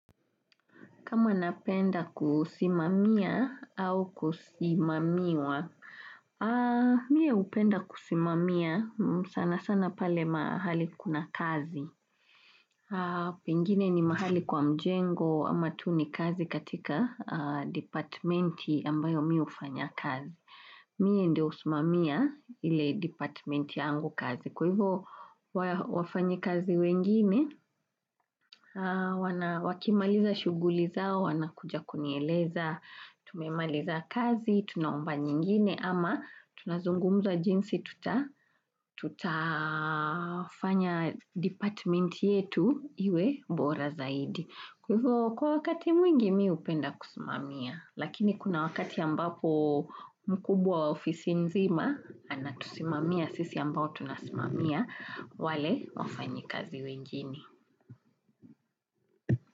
Kama napenda kusimamia au kusimamiwa, mie hupenda kusimamia sana sana pale mahali kuna kazi. Pengine ni mahali kwa mjengo ama tu ni kazi katika departmenti ambayo mi hufanya kazi. Mie ndio husimamia ile departmenti yangu kazi. Kwa hivo wafanyi kazi wengine, wakimaliza shughuli zao, wana kuja kunieleza, tumemaliza kazi, tunaomba nyingine ama tunazungumza jinsi, tuta tutafanya departmenti yetu iwe bora zaidi. Kwa wakati mwingi mi hupenda kusimamia, lakini kuna wakati ambapo mkubwa wa ofisi nzima, anatusimamia sisi ambao tunasimamia, wale wafanyikazi wengine.